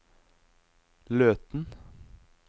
Løten